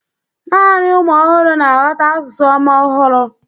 naanị ụmụ ọhụrụ na-aghọta asụsụ ụmụ ọhụrụ.